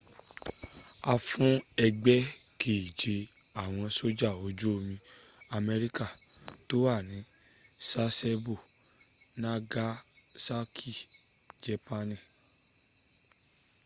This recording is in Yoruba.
a fún ẹgbẹ́ keje àwọn sójà ojú omi amerika tó wà ní sasebo nagasaki jépaani